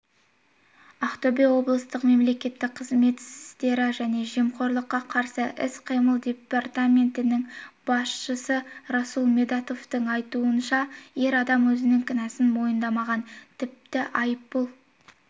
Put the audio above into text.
ақтөбе облыстық мемлекеттік қызмет істері және жемқорлыққа қарсы іс-қимыл департаментінің басшысы расул медетовтің айтуынша ер адам өзінің кінәсін мойындамаған тіпті айыппұл